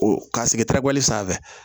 O ka sigi terekuli sanfɛ